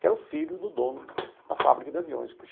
Que era o filho do dono da fábrica de aviões.